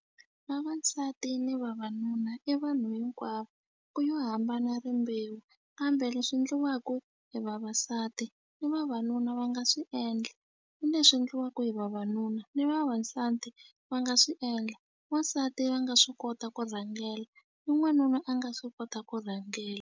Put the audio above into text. Vavasati ni vavanuna i vanhu hinkwavo ku yo hambana rimbewu kambe leswi endliwaku hi vavasati ni vavanuna va nga swi endla ku na swi endliwaku hi vavanuna ni vavasati va nga swi endla wansati va nga swi kota ku rhangela ni n'wanuna a nga swi kota ku rhangela.